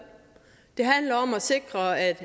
det handler om at sikre at